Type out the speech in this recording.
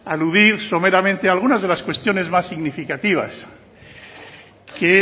aludir someramente algunas de las cuestiones más significativas que